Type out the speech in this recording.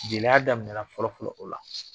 Gɛlɛya daminɛna fɔlɔ-fɔlɔ o la